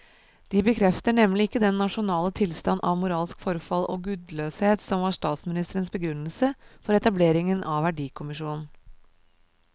De bekrefter nemlig ikke den nasjonale tilstand av moralsk forfall og gudløshet som var statsministerens begrunnelse for etableringen av verdikommisjonen.